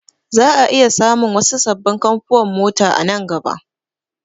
Za'a iya samun wasu sabbin kamfuwan mota a nan gaba